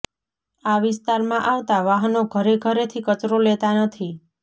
આ વિસ્તારમાં આવતાં વાહનો ઘરે ઘરેથી કચરો લેતા નથી